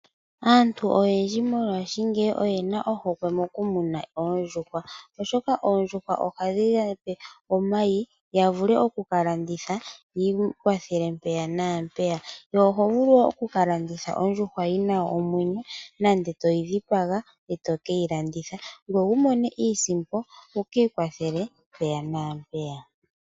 Aantu oyendji mongashingeyi oye na ohokwe mokumuna oondjuhwa, oshoka oondjuhwa ohadhi ya pe omayi ya vule okukalanditha yiikwathele mpeya nampeya. Oho vulu wo okulanditha ondjuhwa yi na omwenyo nenge toyi dhipaga e to keyi landitha ngoye wu mone iisimpo mpeya naampeya.